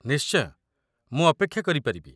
ନିଶ୍ଚୟ। ମୁଁ ଅପେକ୍ଷା କରିପାରିବି।